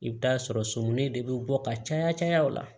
I bɛ taa sɔrɔ sɔmin de bɛ bɔ ka caya caya o la